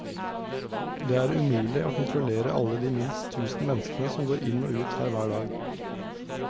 Det er umulig å kontrollere alle de minst tusen menneskene som går inn og ut her hver dag.